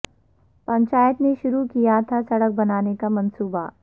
پنچایت نے شروع کیا تھا سڑک بنانے کا منصوبہ